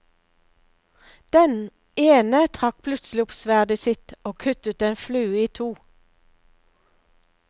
Den ene trakk plutselig opp sverdet sitt, og kuttet en flue i to.